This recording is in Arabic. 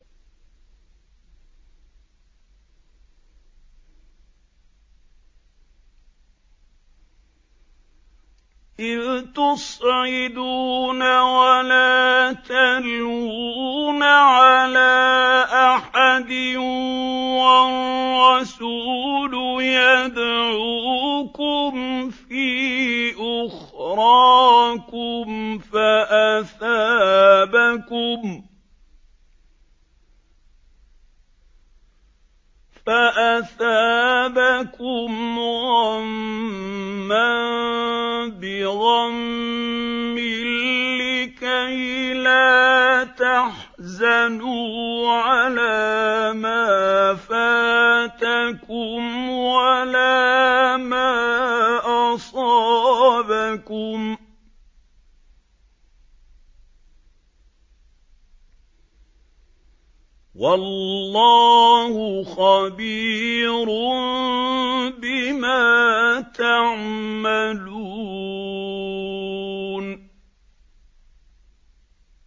۞ إِذْ تُصْعِدُونَ وَلَا تَلْوُونَ عَلَىٰ أَحَدٍ وَالرَّسُولُ يَدْعُوكُمْ فِي أُخْرَاكُمْ فَأَثَابَكُمْ غَمًّا بِغَمٍّ لِّكَيْلَا تَحْزَنُوا عَلَىٰ مَا فَاتَكُمْ وَلَا مَا أَصَابَكُمْ ۗ وَاللَّهُ خَبِيرٌ بِمَا تَعْمَلُونَ